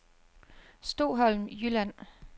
Stoholm Jylland